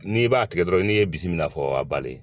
N'i b'a tigɛ dɔrɔn n'i ye bimila fɔ a ka bali